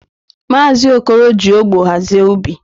Maazi Okoro ji ogbo hazie ubi.